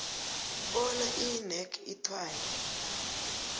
bona inac ithwale